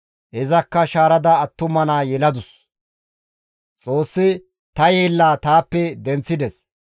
Izakka shaarada attuma naa yeladus; «Xoossi ta yeella taappe denththides;